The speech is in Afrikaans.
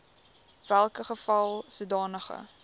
welke geval sodanige